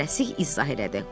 o tələsik izah elədi.